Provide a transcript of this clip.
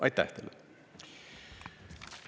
Aitäh teile!